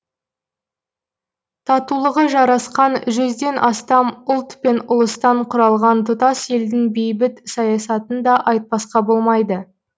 татулығы жарасқан жүзден астам ұлт пен ұлыстан құралған тұтас елдің бейбіт саясатын да айтпасқа болмайды